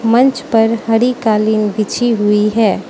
मंच पर हरी कालीन बिछी हुई है।